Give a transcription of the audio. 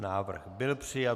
Návrh byl přijat.